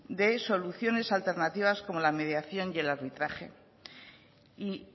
de soluciones alternativas como la mediación y el arbitraje y